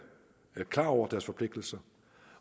klar over deres forpligtelser